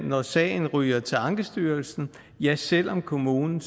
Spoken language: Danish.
når sagen ryger til ankestyrelsen ja så selv om kommunen